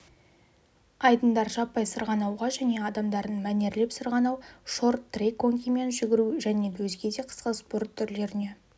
айдындар жаппай сырғанауға және адамдардың мәнерлеп сырғанау шорт-трек конькимен жүгіру және өзге де қысқы спорт түрлеріне